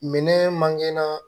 Minɛn mangana